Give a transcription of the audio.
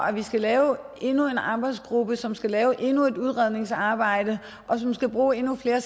at vi skal lave endnu en arbejdsgruppe som skal lave endnu et udredningsarbejde og som skal bruge endnu flere